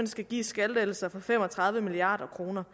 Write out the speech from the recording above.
skal gives skattelettelser for fem og tredive milliard kroner